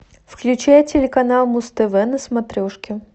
включай телеканал муз тв на смотрешке